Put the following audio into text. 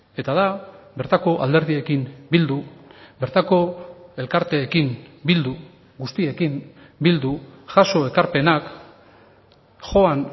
eta da bertako alderdiekin bildu bertako elkarteekin bildu guztiekin bildu jaso ekarpenak joan